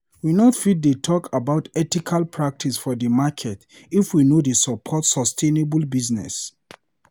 We not fit dey talk about ethical practice for di market if we no dey support sustainable business.